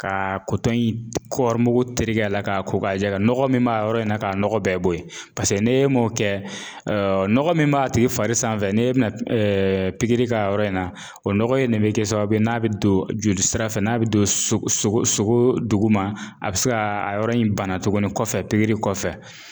Ka kotɔn in kɔɔri mugu tereke a la k'a ko k'a jɛ nɔgɔ min b'a yɔrɔ in na k'a nɔgɔ bɛɛ bo yen paseke n'e m'o kɛ ɔɔ nɔgɔ min b'a tigi fari sanfɛ n'e bina ɛɛ pigiri k'a yɔrɔ in na o nɔgɔ in de bɛ kɛ sababu ye n'a be don jolisira fɛ n'a bi don so sogo sogoo duguma a bi se gaa a yɔrɔ in bana tuguni kɔfɛ pigiri kɔfɛ